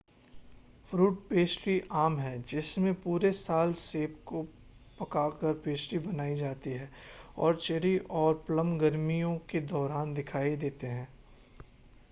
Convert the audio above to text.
fruit pastry आम हैं जिसमें पूरे साल सेब को पकाकर पेस्ट्री बनाई जाती हैं और चेरी और प्लम गर्मियों के दौरान दिखाई देते हैं